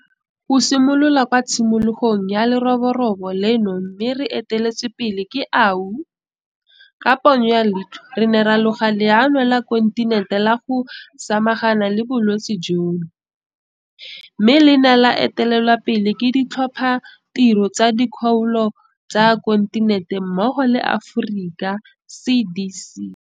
Go simolola kwa tshimologong ya leroborobo leno mme re eteletswe pele ke AU, ka ponyo ya leitlho re ne ra loga leano la kontinente la go samagana le bolwetse jono, mme le ne la etelelwa pele ke ditlhophatiro tsa dikgaolo tsa kontinente mmogo le Africa CDC.